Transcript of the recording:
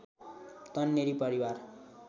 तन्नेरी परिवार